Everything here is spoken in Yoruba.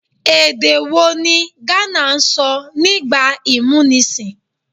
Èdè̀ wo ni ghana sọ nígbà ìmúnisìn?